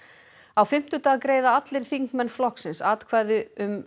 á fimmtudag greiða allir þingmenn flokksins atkvæði um